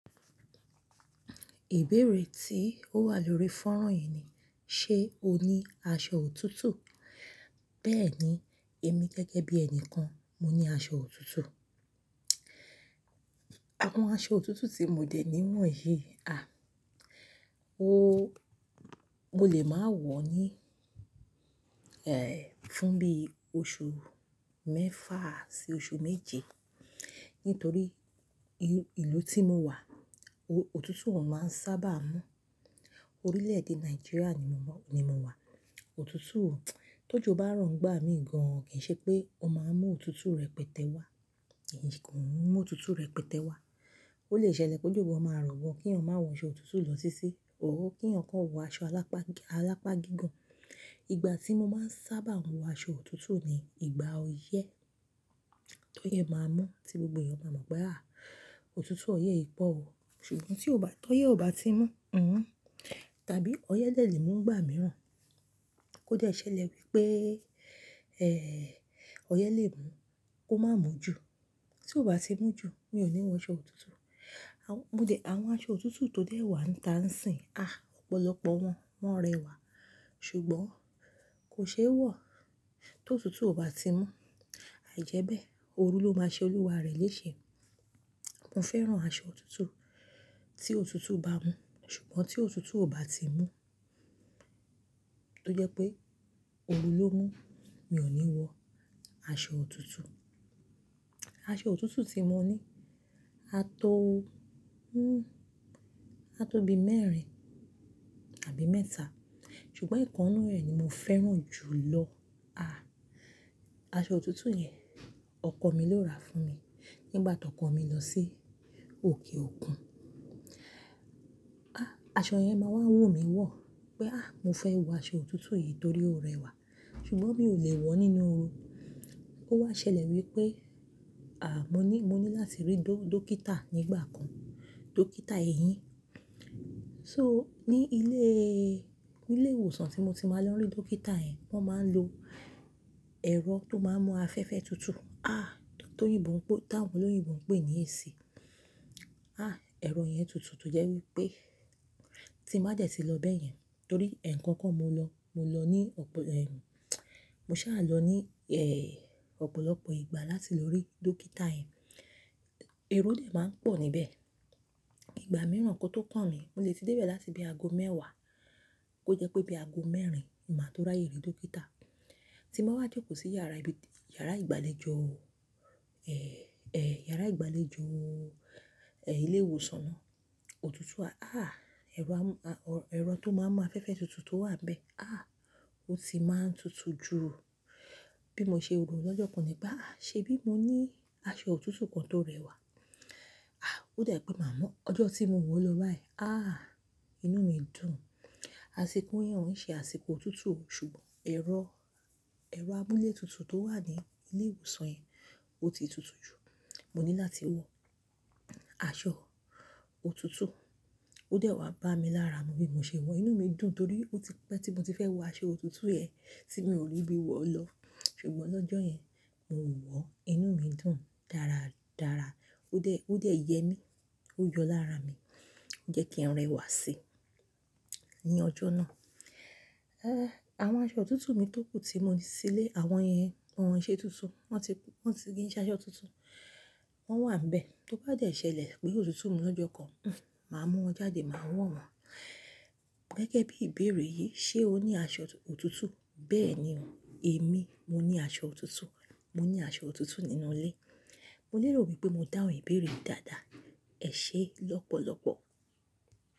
Ìbéèrè tí ó wà lórí fọ́nrán yì "ṣé o ní aṣọ òtútù?" Bẹ́ẹ̀ni, èmi gẹ́gẹ́ bí ẹni kan, mo ní aṣọ òtútù. Àwọn aṣọ òtútù tí mo dè níwọ̀n yì a, mo lè máa wọ̀ ọ́ ní, fún bí oṣù mẹ́fà sí oṣù méje. Nítorí ìlú tí mo wà, òtútù ò máa ń sábà mú. Orílẹ̀-èdè Nàìjíríà ni mo wà. Òtútù, tó jo bá rọ̀ n gbá mi gan kì ṣe pé ó máa mú òtútù rẹ̀ pẹtẹ́ wá, kì mú òtútù rẹ̀ pẹtẹ́ wá. Ó lè ṣẹlẹ̀ kojo wọ́n máa rọwọ́ kí èèyàn máa wọ aṣọ òtútù lọ titi, ò kí ẹ̀yàn kó wọ aṣọ alápá gí-- alápá gígan. Ìgbà tí mo máa ń sábà wọ aṣọ òtútù ni ìgbà oyẹ́. Tó yẹ máa mú tí gbogbo èèyàn máa mọ̀ pé a, òtútù ọyẹ́ yi pọ̀ o. Ṣùgbọ́n tí ó ba-- tó yẹ ọba tí mú, tàbí ọyẹ́ lè mú ìgbà mìíràn, kó de ṣẹlẹ̀ wípé, ọyẹ́ lè mú, ó máa mú jù. Tí ó bá ti mú jù, mi ò ní wọ aṣọ òtútù. Mo dè àwọn aṣọ òtútù tó dẹ̀ wà ń ta ń sìn, a, ọ̀pọ̀lọpọ̀ wọn rẹwà. Ṣùgbọ́n kò ṣe é wọ̀ tó òtútù ọba ti mú. Àìjẹ́bẹ́, òru ló máa ṣe olúwa rẹ̀ léṣe. Mo fẹ́ràn aṣọ òtútù tí òtútù bá mú. Ṣùgbọ́n tí òtútù ò bá ti mú, tó jẹ́ pé òru ló mú, mi ò ní wọ aṣọ òtútù. Aṣọ òtútù tí mo ní, a tó, a tó bi mẹ́rin tàbí mẹ́ta. Ṣùgbọ́n ìkannu ẹ̀ ni mo fẹ́ràn jù lọ. A, aṣọ òtútù yẹn ọkọ mi ló ra fún mi nígbà tọkọ mi lọ sí òkè òkun. A, aṣọ yẹn máa wá wù mí wọ̀ pé a, mo fẹ́ wọ aṣọ òtútù yìí torí ó rẹwà. Ṣùgbọ́n mi ò lè wọ̀ ọ́ nínú oru. Ó wá ṣẹlẹ̀ wípé, à mọ ní, mo ní láti rí do dókítà nígbà kan, dókítà èyín. So ní ilé, ní ilé ìwòsàn tí mo ti máa lọ rí dókítà yẹn, wọ́n máa ń lo ẹ̀rọ tó máa ń mú afẹ́fẹ́ tutù, a, tó yìnbo pe, táwọn oloyìnbo n pe ní èsì. A, ẹ̀rọ yẹn tutù tó jẹ́ wípé tí má de ti lọ bẹ́yẹn torí ẹ̀ẹ̀kan kan mo lọ, mo lọ ní ọ̀pọ̀lọp-- mo sá lọ ní ọ̀pọ̀lọpọ̀ ìgbà láti lọ rí dókítà yẹn. Aro de máa ń pọ̀ níbẹ̀. Ìgbà mìíràn kó tó kan mí, mo lè ti dé bẹ̀ láti ibi ago mẹ́wàá kó jẹ́ pé ibi ago mẹ́rin, màá tó ráyè rí dókítà. Tí mo bá jòkó sí yàrá ibi-- yàrá ìgbàlejò, yàrá ìgbàlejò ilé ìwòsàn náà, òtútù a, a, ẹ̀rọ a, ẹ̀rọ tó máa ń mú afẹ́fẹ́ tutù tó wà níbẹ̀ a, ó ti máa ń tutù jù. Bí mo ṣe rò ó lọ́jọ́ kan ní bá a, ṣe bí mo ní aṣọ òtútù kan tó rẹwà. A, ó da pé màá mú ọjọ́ tí mo wọ̀ ọ́ lọ báyìí. A, inú mi dùn. Asiko yẹn ò ń ṣe àsìkò òtútù, ṣùgbọ́n ẹ̀rọ, ẹ̀rọ amúlé tutù tó wà ní ilé ìwòsàn yẹn ó ti tutù jù. Mo ní láti wọ aṣọ òtútù. Ó dẹ̀ wá bá mi lára, mo bí mo ṣe wọ̀ ọ́. Inú mi dùn torí ó ti pẹ́ tí mo ti fẹ́ wọ aṣọ òtútù yẹn tí mi ò rí bí wọ̀ ọ́ lọ. Ṣùgbọ́n lọ́jọ́ yẹn, mo wọ̀ ọ́, inú mi dùn dára dára. Ó dẹ̀, ó dẹ̀ yẹ mí, ó yọ lára mi. Ó jẹ́ kí n rẹwà sí ní ọjọ́ náà. Àwọn aṣọ òtútù mi tókù tí mo ní sílé, àwọn yẹn wọ́n ṣe tuntun. Wọ́n ti, wọ́n ti ki ṣe aṣọ tuntun. Wọ́n wà níbẹ̀. Tó bá dẹ̀ ṣe ìlẹ̀ pé òtútù mú lọ́jọ́ kan, hun, màá mú wọn jáde, màá wọ̀ wọn. Gẹ́gẹ́ bí ìbéèrè yí "ṣé o ní aṣọ òtútù?" Bẹ́ẹ̀ni o, èmi mo ní aṣọ òtútù. Mo ní aṣọ òtútù nínú ilé. Mo nílò wípé mo dá òun ìbéèrè dáadáa. Ẹ ṣé lọ́pọ̀lọpọ̀.